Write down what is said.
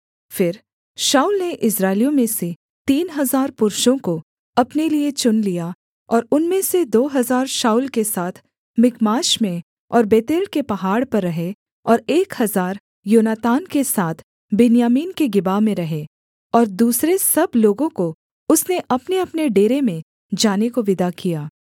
फिर शाऊल ने इस्राएलियों में से तीन हजार पुरुषों को अपने लिये चुन लिया और उनमें से दो हजार शाऊल के साथ मिकमाश में और बेतेल के पहाड़ पर रहे और एक हजार योनातान के साथ बिन्यामीन के गिबा में रहे और दूसरे सब लोगों को उसने अपनेअपने डेरे में जाने को विदा किया